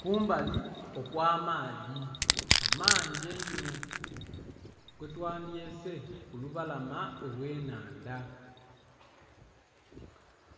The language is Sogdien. Kumbali okwa maadhi amangi einho kwe twa dhyese ku lubalama olwe nhandha